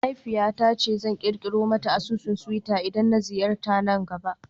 Mahaifiyata ta ce zan kirkiro mata asusun twitter idan na ziyarta na gaba